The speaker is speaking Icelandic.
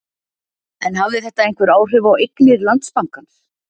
En hafði þetta einhver áhrif á eignir Landsbankans?